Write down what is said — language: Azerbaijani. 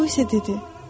O isə dedi: